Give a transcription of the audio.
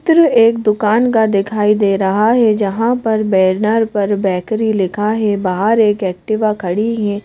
एक दुकान का दिखाई दे रहा है जहां पर बैनर पर बैकरी लिखा है बाहर एक एक्टिवा खड़ी हैं।